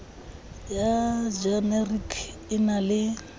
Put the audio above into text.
ya jenerike e na le